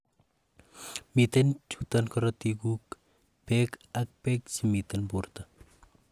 miten chuton korotikguk, beek ak beek chemiten borto